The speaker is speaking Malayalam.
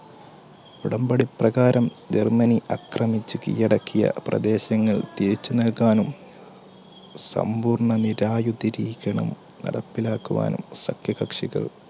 ഉടമ്പടി പ്രകാരം ജർമ്മനി അക്രമച്ച് കീഴടക്കിയ പ്രദേശങ്ങൾ തിരിച്ചു നൽകാനും സമ്പൂർണ്ണ നിരായുധരീക്ഷണം നടപ്പിലാക്കുവാനും സഖ്യകക്ഷികൾ